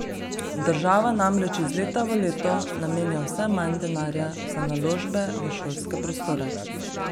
Država namreč iz leta v leto namenja vse manj denarja za naložbe v šolske prostore.